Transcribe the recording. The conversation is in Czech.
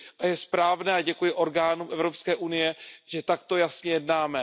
Je správné a děkuji orgánům Evropské unie že takto jasně jednáme.